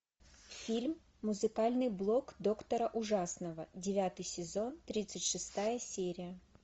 фильм музыкальный блог доктора ужасного девятый сезон тридцать шестая серия